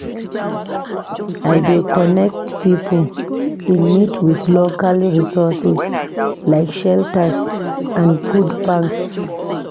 I dey connect pipo in need with local resources like shelters and food banks.